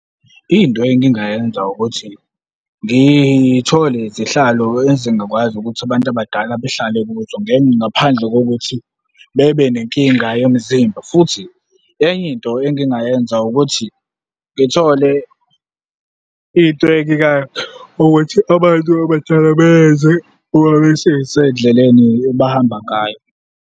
Into engingayenza ukuthi ngithole izihlalo ezingakwazi ukuthi abantu abadala behlale kuzo ngaphandle kokuthi bebe nenkinga yomzimba, futhi enye into engingayenza ukuthi ngithole into ukuthi abantu abadala beyenze uma besesendleleni abahamba ngayo.